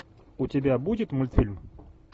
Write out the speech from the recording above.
у тебя будет мультфильм